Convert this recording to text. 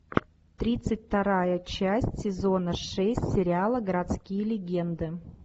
тридцать вторая часть сезона шесть сериала городские легенды